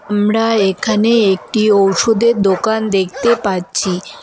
আমরা এখানে একটি ঔষধের দোকান দেখতে পাচ্ছি।